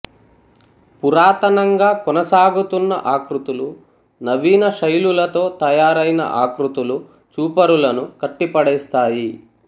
పురాతనంగా కొనసాగుతున్న ఆకృతులు నవీన శైలులతో తయారైన ఆకృతులు చూపరులను కట్టి పడేస్తాయి